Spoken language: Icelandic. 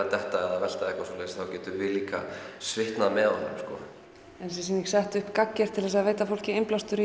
að detta eða velta eða eitthvað þá getum við líka svitnað með honum er þessi sýning sett upp gagngert til að veita fólki innblástur